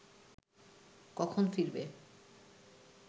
কখন ফিরবে